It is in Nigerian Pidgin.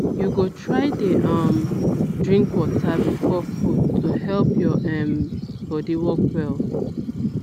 you go try dey um drink water before food to help your um body work well